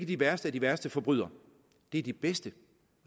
de værste af de værste forbrydere det er de bedste